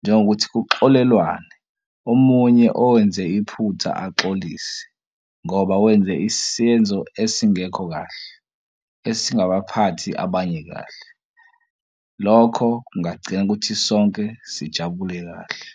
njengokuthi kuxolelwane omunye owenze iphutha axolise ngoba wenze isenzo esingekho kahle, esingaba baphathi abanye kahle. Lokho kungagcina ukuthi sonke sijabule kahle.